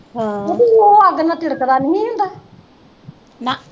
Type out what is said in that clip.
ਉਹ ਅੱਗ ਨਾ ਤਿੜਕਦਾ ਨਹੀਂ ਹੀ ਹੁੰਦਾ